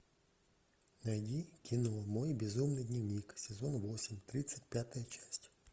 найди кино мой безумный дневник сезон восемь тридцать пятая часть